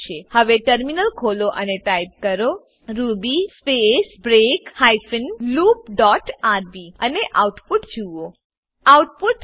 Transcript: હવે ટર્મિનલ ખોલો અને ટાઈપ કરો Ruby space break hyphen loop dot RB Ruby space break hyphen loop dot RB અને output જુઓ